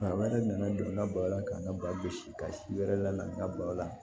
Maa wɛrɛ nana don n ka baro la ka n ka ba gosi ka si wɛrɛ la n ka balo la